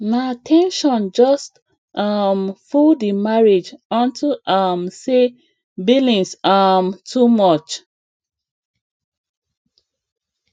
na ten sion just um full the marriage unto um say billings um too much